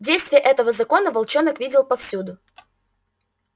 действие этого закона волчонок видел повсюду